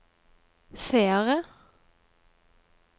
seere